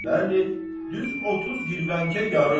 Bəli, düz 30 girvənkə yarım.